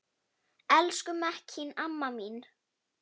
Elsku Mekkín amma mín.